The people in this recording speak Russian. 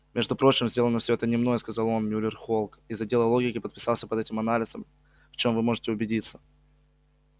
между прочим сделано всё это не мной сказал он мюллер холк из отдела логики подписался под этим анализом в чём вы можете убедиться